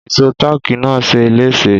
Ìsó táákì náà ṣeé léṣe